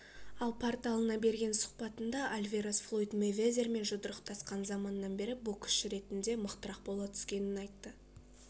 ал порталына берген сұхбатында альварес флойд мейвезермен жұдырықтасқан заманнан бері боксшы ретінде мықтырақ бола түскенін айтты